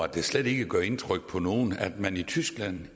det slet ikke gør indtryk på nogen at man i tyskland